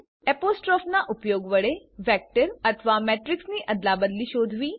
એપોસ્ટ્રોફનાં ઉપયોગ વડે વેક્ટર અથવા મેટ્રીક્સની અદલાબદલી શોધવી